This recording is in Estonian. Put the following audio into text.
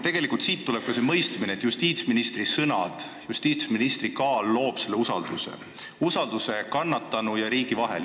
Tegelikult tuleb siit ka see mõistmine, et justiitsministri sõnad ja nende kaal loovad selle usalduse, usalduse kannatanu ja riigi vahel.